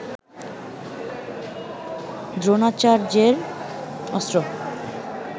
দ্রোণাচার্যের অস্ত্র